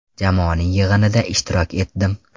Jamoaning yig‘inida ishtirok etdim.